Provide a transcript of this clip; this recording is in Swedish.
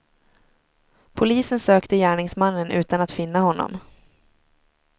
Polisen sökte gärningsmannen utan att finna honom.